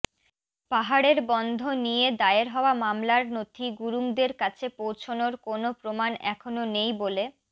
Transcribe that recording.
পাহাড়ের বন্ধ নিয়ে দায়ের হওয়া মামলার নথি গুরুঙ্গদের কাছে পৌঁছনোর কোনও প্রমাণ এখনও নেই বলে